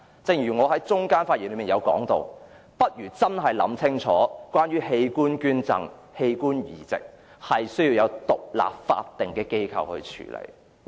正如我在發言中段提及，政府應細心考慮將器官捐贈及器官移植交由獨立的法定機構處理。